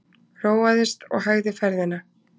Róaðist og hægði ferðina.